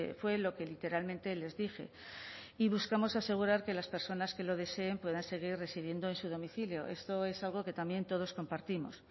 fue lo que literalmente les dije y buscamos asegurar que las personas que lo deseen puedan seguir residiendo en su domicilio esto es algo que también todos compartimos